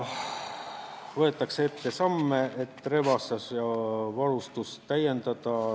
Võetakse ette samme, et relvastust ja varustust täiendada.